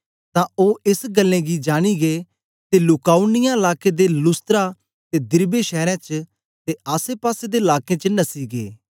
तां ओ एस गल्लें गी जानी गै ते लूका उनिया लाके दे लुस्त्रा ते दिरबे शैरें च ते आसेपासे दे लाकें च नसी गै